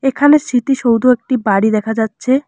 এখানে স্মৃতি সৌধ একটি বাড়ি দেখা যাচ্ছে।